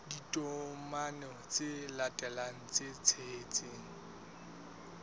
ditokomane tse latelang tse tshehetsang